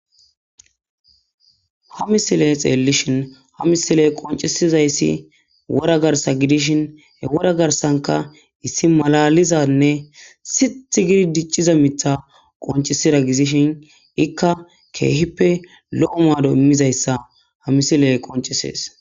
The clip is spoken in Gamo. Ha misileye xelelishin ha misile'e qoncesizayssi wora garsa gidishin he wora garsanka issi malalizanne sitth gidi dicciza mitha qoncesira gizishin ikka keehippe lo'o maado immizayssa ha misileye qoncesees.